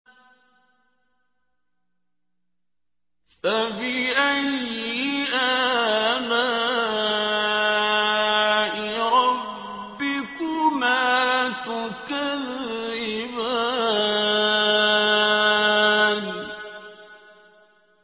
فَبِأَيِّ آلَاءِ رَبِّكُمَا تُكَذِّبَانِ